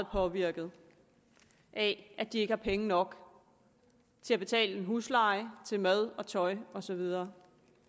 påvirket af at de ikke har penge nok til at betale huslejen til mad og tøj og så videre